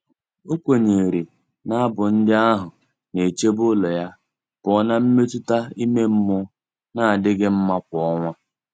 O kwenyere na abụ ndị ahụ na-echebe ụlọ ya pụọ na mmetụta ime mmụọ na-adịghị mma kwa ọnwa.